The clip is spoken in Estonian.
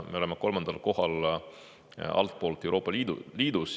Me oleme Euroopa Liidus kolmandal kohal altpoolt.